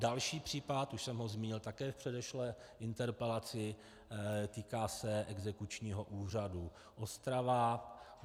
Další případ, už jsem ho zmínil také v předešlé interpelaci, týká se Exekučního úřadu Ostrava.